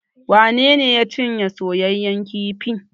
Wane ne ya cinye soyaƴan kifin?